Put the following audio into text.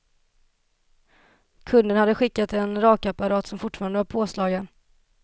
Kunden hade skickat en rakapparat som fortfarande var påslagen.